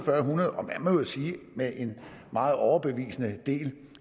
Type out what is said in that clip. hundrede og man må jo sige med en meget overbevisende del